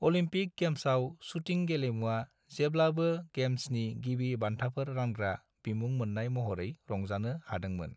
Olympic गेम्साव shooting गेलेमुवा जेब्लाबो गेम्सनि गिबि बान्थाफोर रानग्रा बिमुं मोन्नाय महरै रंजानो हादोंमोन।